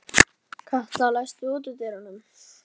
Katla, læstu útidyrunum.